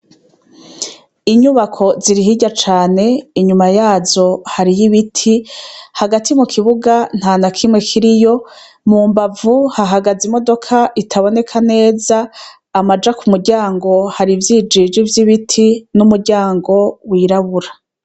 Inyubako ziri hirya cane inyuma yazo hariyo ibiti hagati mu kibuga nta na kimwe kiriyo mu mbavu hahagaze imodoka itaboneka neza amaja ku muryango hari ivyijiji vy'ibiti n'umuryango wirabura.